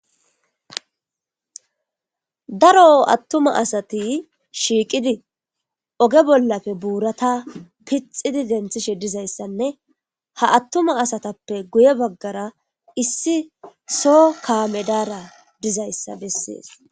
Daro attuma asati shiiqidi oge bollafe buurata pixidi denthishe dizayssanne ha attuma asatappe guye baggara issi soo kaame daara dizayssa bessees.